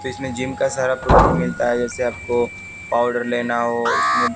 इसमें जिम का सारा प्रोडक्ट मिलता है जैसे आपको पाउडर लेना हो उसमें--